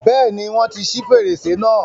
Bẹ́ẹ̀ni, wọ́n ti ṣi fèrèsé náà.